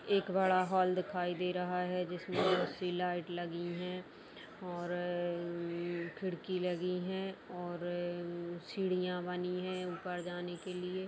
एक बड़ा हॉल दिखाई दे रहा है जिसमे एसी लाइट लगी है और अम्मम्म खिड़की लगी है और अम्म्म सीढ़ियां बनी हैं ऊपर जाने के लिए।